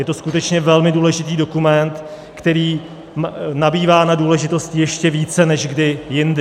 Je to skutečně velmi důležitý dokument, který nabývá na důležitosti ještě více než kdy jindy.